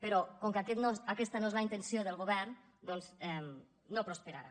però com que aquesta no és la intenció del govern doncs no prosperarà